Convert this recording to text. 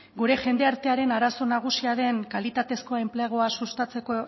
gure jende artearen arazo nagusia den kalitatezkoen enplegua sustatzeko